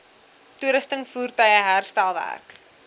toerusting voertuie herstelwerk